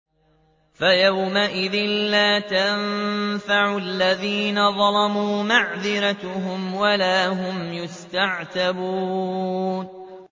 فَيَوْمَئِذٍ لَّا يَنفَعُ الَّذِينَ ظَلَمُوا مَعْذِرَتُهُمْ وَلَا هُمْ يُسْتَعْتَبُونَ